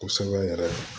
Kosɛbɛ n yɛrɛ ye